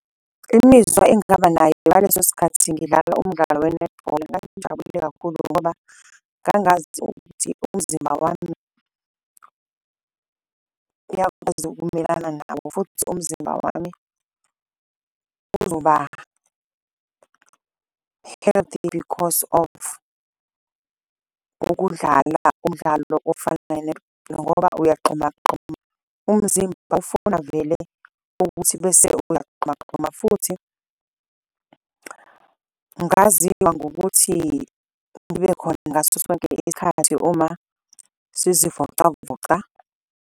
Imizwa engingaba nayo ngaleso sikhathi ngidlala umdlalo we-netball ngangijabule kakhulu ngoba ngangazi ukuthi umzimba wami uyakwazi ukumelana nawo, futhi umzimba wami uzoba-healthy because of ukudlala umdlalo ofana ne-netball ngoba uyagxumagxuma. Umzimba ufuna vele ukuthi bese uyagxumagxuma futhi ngokuthi ngibe khona ngaso sonke isikhathi uma sizivocavoca.